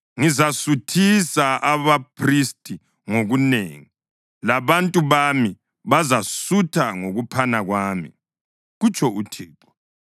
Ngizasuthisa abaphristi ngokunengi, labantu bami bazasutha ngokuphana kwami,” kutsho uThixo.